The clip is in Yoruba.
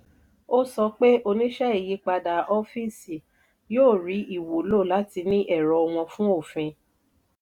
ó sọ pé oníṣẹ́ ìyípadà ọ́fíìsì yóò ríi ìwúlò láti ní ẹ̀rọ wọn fún òfin.